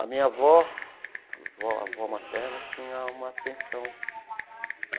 A minha avó, avó materna, tinha uma pensão.